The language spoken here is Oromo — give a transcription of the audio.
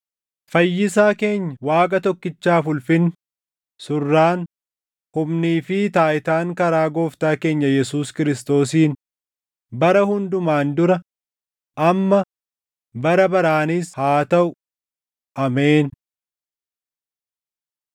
Fayyisaa keenya Waaqa tokkichaaf ulfinni, surraan, humnii fi taayitaan karaa Gooftaa keenya Yesuus Kiristoosiin bara hundumaan dura, amma, bara baraanis haa taʼu! Ameen.